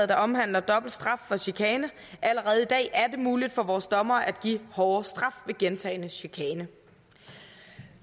der omhandler dobbelt straf for chikane allerede i dag er det muligt for vores dommere at give en hårdere straf ved gentagen chikane